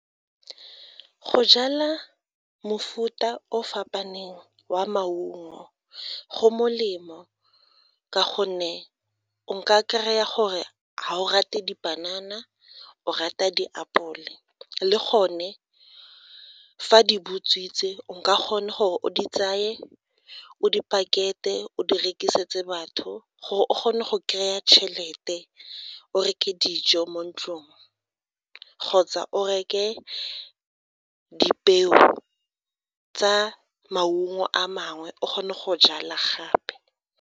Go jala mofuta o o fapaneng wa maungo go molemo ka gonne o ka kry-a gore ga o rate dipanana o rata diapole le gone fa di butswitse o ka kgona gore o di tseye, o di pakete, o di rekisetse batho gore o kgone go kry-a chelete, o reke dijo mo ntlong kgotsa o reke dipeo tsa maungo a mangwe o kgone go jala gape.